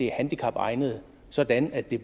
handicapegnede sådan at de